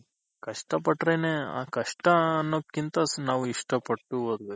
ಕಷ್ಟ ಪಟ್ರೆನೆ ಆ ಕಷ್ಟ ಆನೋದ್ಕಿಂತ ನಾವು ಇಷ್ಟ ಪಟ್ಟು ಓದ್ಬೇಕು.